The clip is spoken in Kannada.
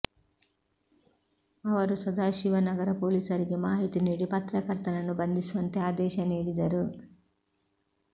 ಅವರು ಸದಾಶಿವನಗರ ಪೊಲೀಸರಿಗೆ ಮಾಹಿತಿ ನೀಡಿ ಪತ್ರಕರ್ತನನ್ನು ಬಂಧಿಸುವಂತೆ ಆದೇಶ ನೀಡಿದರು